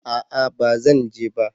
a'a ba zan je ba